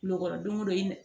Lɔgɔ don ye dɛ